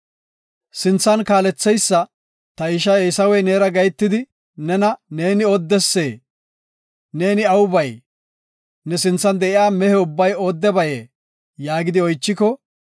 Sinthan kaaletheysa, “Ta ishay Eesawey neera gahetidi, ‘Neeni oodesee? Neeni aw bay? Ne sinthan de7iya mehe ubbay oodebayee?’ yaagidi oychiko,